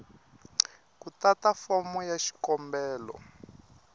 ku tata fomo ya xikombelo